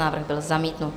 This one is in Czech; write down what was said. Návrh byl zamítnut.